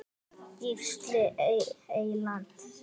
Gísli Eyland.